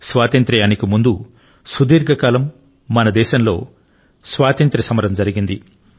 స్వాతంత్య్రానికి ముందు సుదీర్ఘకాలం మన దేశంలో స్వాతంత్ర్య సమరం జరిగింది